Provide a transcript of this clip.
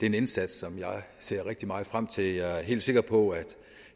en indsats som jeg ser rigtig meget frem til og jeg er helt sikker på at